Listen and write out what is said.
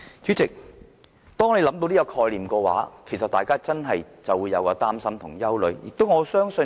主席，當我們想到這個概念，大家真的就會擔心及憂慮。